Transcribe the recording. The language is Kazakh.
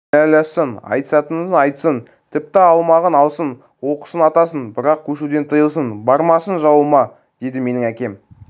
кінәлассын айтысатынын айтсын тіпті алмағын алсын олқысын атасын бірақ көшуден тыйылсын бармасын жауыма деді менің әкем